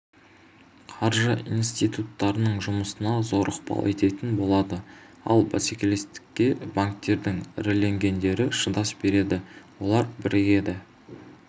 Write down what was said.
қаржы институттарының жұмысына зор ықпал ететін болады ал бәсекелестікке банктердің іріленгендері шыдас береді олар бірігеді